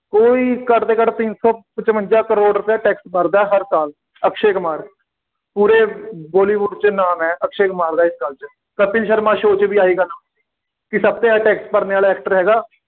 ਕੋਈ ਘੱਟ ਤੋਂ ਘੱਟ ਤਿੰਨ ਸੌ ਪਚਵੰਜ਼ਾ ਕਰੋੜ ਰੁਪਏ ਟੈਕਸ ਭਰਦਾ ਹਰ ਸਾਲ ਅਕਸ਼ੇ ਕੁਮਾਰ, ਪੂਰੇ ਬਾਲੀਵੁੱਡ ਵਿੱਚ ਨਾਮ ਹੈ, ਅਕਸ਼ੇ ਕੁਮਾਰ ਦਾ ਇਸ ਗੱਲ 'ਚ, ਕਪਿਲ ਸ਼ਰਮਾ show 'ਚ ਵੀ ਆਹੀ ਗੱਲ ਹੁੰਦੀ, ਕਿ ਸਭ ਤੋਂ ਜ਼ਿਆਦਾ ਟੈਕਸ ਭਰਨੇ ਵਾਲਾ actor ਹੈਗਾ